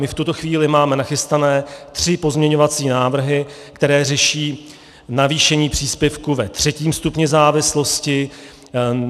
My v tuto chvíli máme nachystané tři pozměňovací návrhy, které řeší navýšení příspěvku ve třetím stupni závislosti.